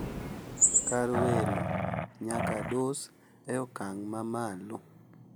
Kar welo nyaka dus e okang` mamalo.